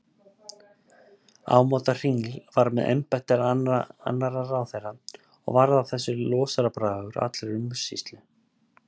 Ámóta hringl var með embætti annarra ráðherra og varð af þessu losarabragur á allri umsýslu.